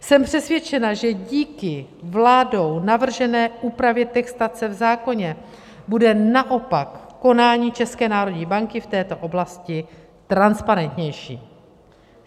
Jsem přesvědčena, že díky vládou navržené úpravě textace v zákoně bude naopak konání České národní banky v této oblasti transparentnější.